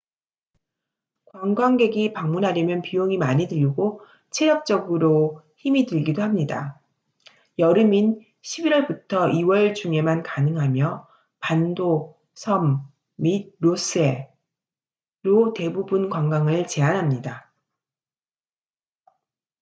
관광객이 방문하려면 비용이 많이 들고 체력적으로 힘이 들기도 합니다. 여름인 11월부터 2월 중에만 가능하며 반도 섬 및 로스 해ross sea로 대부분 관광을 제한합니다